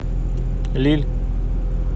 лилль